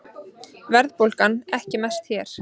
Verðbólgan ekki mest hér